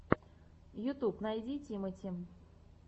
ютюб найди тимати